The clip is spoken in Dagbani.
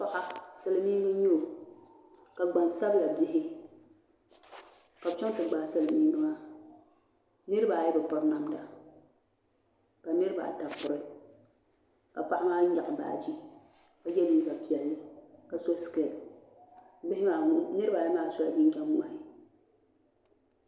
Paɣa silmiingi n nyɛ o ka gbansabila bihi ka bi chɛŋ ti gbaai silmiingi maa niraba ayi bi piri namda ka niraba ata piri ka paɣa maa nyaɣa baaji ka yɛ liiga piɛlli ka so skɛti bihi maa niraba ayi maa sola jinjɛm ŋmahi